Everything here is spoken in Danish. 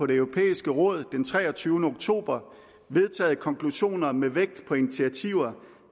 det europæiske råd den treogtyvende oktober vedtaget konklusioner med vægt på initiativer